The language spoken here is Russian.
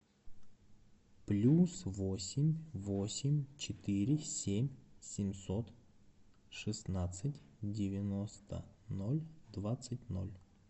плюс восемь восемь четыре семь семьсот шестнадцать девяносто ноль двадцать ноль